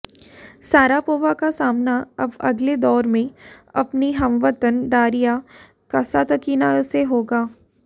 Sharapova का सामना अब अगले दौर में अपनी हमवतन डारिया कसातकीना से होगा